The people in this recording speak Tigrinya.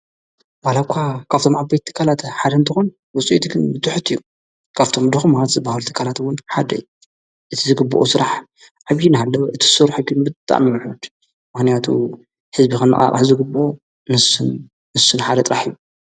በልኳ ካብቶም ኣበይት ተቃላተ ሓደንተኾን ወፁኤትኽን ምትሑት እዩ ካብቶም ድኹም ማት ዝበሃል ተካላትውን ሓደይ እቲ ዝግብኦ ሥራሕ ዓብዪ ነሃለዉ እቲ ሱርሕጊኑ ብታእምዑድ መኅንያቱ ሕዝቢ ኸኑኣቕ ሕዝግብ ምስን ንስን ሓደ ጥራሕ ዩ።